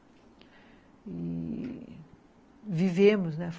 E vivemos, né?